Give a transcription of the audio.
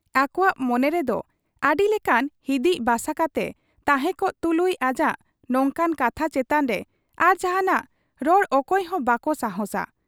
ᱟᱠᱚᱣᱟᱜ ᱢᱚᱱᱮ ᱨᱮᱫᱚ ᱟᱹᱰᱤᱞᱮᱠᱟᱱ ᱦᱤᱫᱤᱡ ᱵᱟᱥᱟ ᱠᱟᱛᱮ ᱛᱟᱦᱮᱸᱠᱚᱜ ᱛᱩᱞᱩᱡ ᱟᱡᱟᱜ ᱱᱚᱝᱠᱟᱱ ᱠᱟᱛᱷᱟ ᱪᱮᱛᱟᱱᱨᱮ ᱟᱨ ᱡᱟᱦᱟᱸᱱᱟᱜ ᱨᱚᱲ ᱚᱠᱚᱭ ᱦᱚᱸ ᱵᱟᱠᱚ ᱥᱟᱦᱟᱸᱥᱟ ᱾